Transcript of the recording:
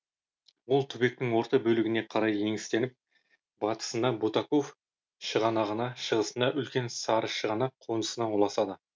ол түбектің орта бөлігіне қарай еңістеніп батысында бутаков шығанағына шығысында үлкен сарышығанақ қонысына ұласады